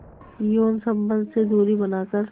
यौन संबंध से दूरी बनाकर